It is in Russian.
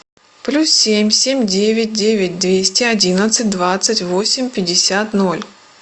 плюс семь семь девять девять двести одиннадцать двадцать восемь пятьдесят ноль